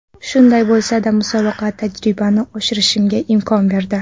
Shunday bo‘lsa-da, musobaqa tajribamni oshirishimga imkon berdi.